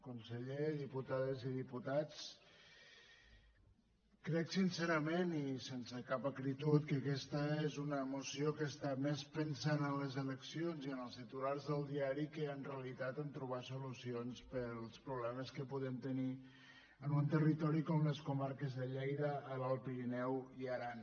conseller diputades i di·putats crec sincerament i sense cap acritud que aques·ta és una moció que està més pensant en les eleccions i en els titulars del diari que en realitat a trobar solu·cions per als problemes que podem tenir en un territo·ri com les comarques de lleida l’alt pirineu i aran